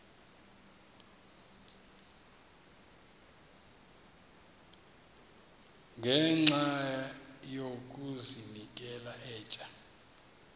ngenxa yokazinikela etywa